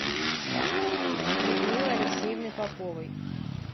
людмилы алексеевны поповой